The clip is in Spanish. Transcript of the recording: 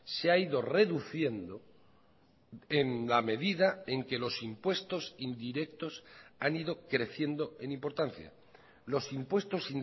se ha ido reduciendo en la medida en que los impuestos indirectos han ido creciendo en importancia los impuestos